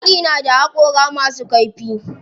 Zaki na da haƙora masu kaifi.